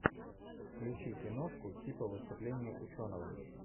включи киношку типа выступление ученого